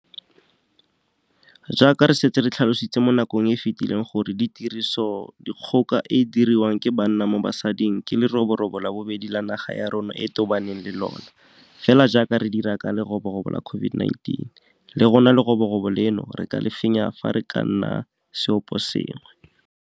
Jaaka re setse re tlhalositse mo nakong e e fetileng gore tirisodikgoka e e diriwang ke banna mo basading ke leroborobo la bobedi le naga ya rona e tobaneng le lona, fela jaaka re dira ka leroborobo la COVID19, le lona leroborobo leno re ka le fenya fa re ka nna seoposengwe.